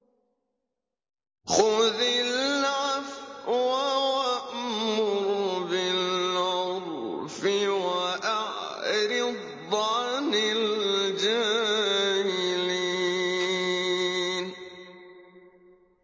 خُذِ الْعَفْوَ وَأْمُرْ بِالْعُرْفِ وَأَعْرِضْ عَنِ الْجَاهِلِينَ